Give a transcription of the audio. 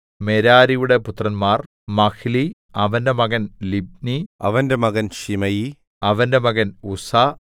മെരാരിയുടെ പുത്രന്മാർ മഹ്ലി അവന്റെ മകൻ ലിബ്നി അവന്റെ മകൻ ശിമെയി അവന്റെ മകൻ ഉസ്സാ